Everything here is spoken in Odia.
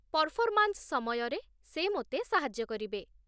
ପର୍ଫର୍ମାନ୍ସ ସମୟରେ ସେ ମୋତେ ସାହାଯ୍ୟ କରିବେ।